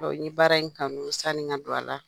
n ye baara in kanu sani n ka don a la.